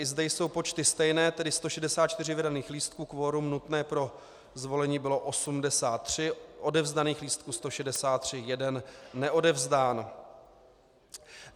I zde jsou počty stejné, tedy 164 vydaných lístků, kvorum nutné pro zvolení bylo 83, odevzdaných lístků 163, jeden neodevzdán.